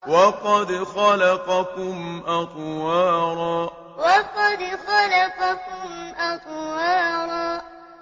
وَقَدْ خَلَقَكُمْ أَطْوَارًا وَقَدْ خَلَقَكُمْ أَطْوَارًا